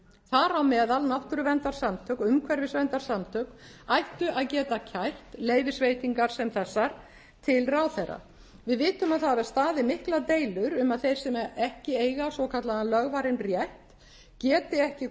þar á meðal náttúruverndarsamtök og umhverfisverndarsamtök ættu að geta kært leyfisveitingar sem þessar til ráðherra við vitum að það hafa staðið miklar deilur um að þeir sem ekki eiga svokallaðan lögvarinn rétt geti ekki